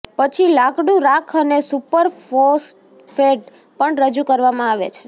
પછી લાકડું રાખ અને સુપરફોસ્ફેટ પણ રજૂ કરવામાં આવે છે